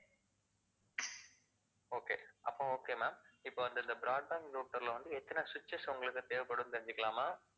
okay அப்போ, okay ma'am இப்ப இந்த broadband router ல வந்து எத்தனை switches உங்களுக்கு தேவைப்படுதுன்னு தெரிஞ்சுக்கலாமா?